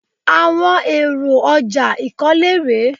Àwọn èrò ọjà ìkólé rèé.